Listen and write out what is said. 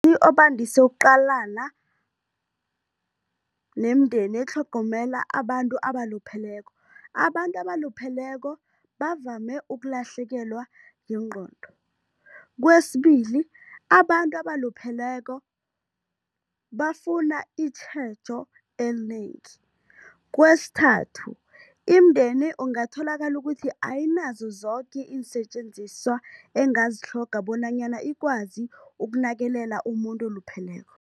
obandise ukuqalana nemindeni etlhogomela abantu abalupheleko, abantu abalupheleko bavame ukulahlekelwa yingqondo. Kwesibili, abantu abalupheleko bafuna itjhejo elinengi. Kwesithathu, imindeni ungatholaka ukuthi ayinazo zoke iinsetjenziswa engazitlhoga bonanyana ikwazi ukunakelela umuntu olupheleko.